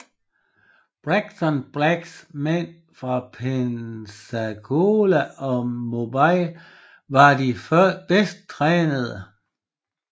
Braxton Braggs mænd fra Pensacola og Mobile var de bedst trænede